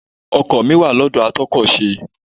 Ọkọ̀ mi wà lọ́dọ̀ a tún ọkọ ṣe.